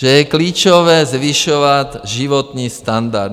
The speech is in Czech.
Že je klíčové zvyšovat životní standard.